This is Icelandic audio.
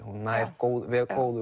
hún nær góðum